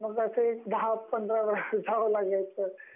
म्हणजे अस दहा-पंधरा वेळा जावं लागायचं.